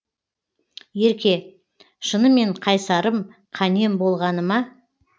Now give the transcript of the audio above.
ерке шынымен қайсарым қанем болғаны ма